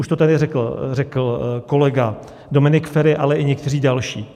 Už to tady řekl kolega Dominik Feri, ale i někteří další.